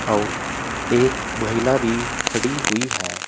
और एक महिला भी खड़ी हुई है।